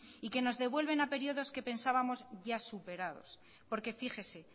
y que nos devuelven a periodos que pensábamos ya superados porque fíjese